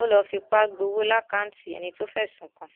ò lọọ fipá gbowó lákàtúntì ẹni tó fẹsùn kàn